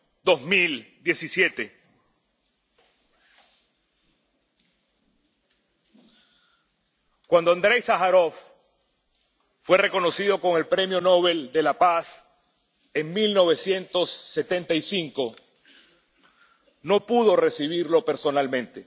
2017. Cuando Andréi Sájarov fue reconocido con el Premio Nobel de la Paz en 1975 no pudo recibirlo personalmente.